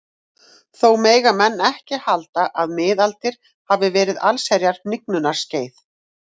Þó mega menn ekki halda að miðaldir hafi verið allsherjar hnignunarskeið.